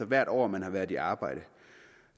hvert år man har været i arbejde